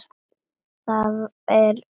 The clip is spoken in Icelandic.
Það er hrein unun.